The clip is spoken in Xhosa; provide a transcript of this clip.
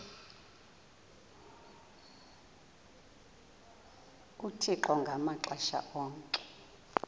uthixo ngamaxesha onke